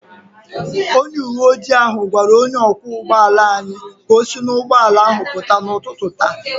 Onye uwe ojii ahụ gwara onye ọkwọ ụgbọ ala anyị ka o si n’ụgbọala ahụ pụta n’ụtụtụ taa